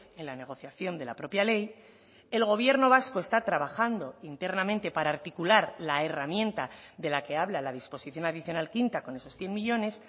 en la negociación de la propia ley el gobierno vasco está trabajando internamente para articular la herramienta de la que habla la disposición adicional quinta con esos cien millónes